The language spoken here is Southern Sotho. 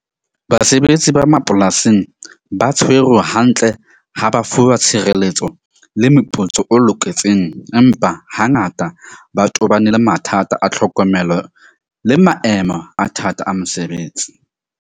Basebetsi ba mapolasing ba tshwerwe hantle ha ba fuwa tshireletso le meputso o loketseng. Empa hangata ba tobane le mathata a tlhokomelo le maemo a thata a mosebetsi.